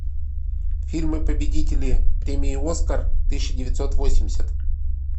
фильмы победители премии оскар тысяча девятьсот восемьдесят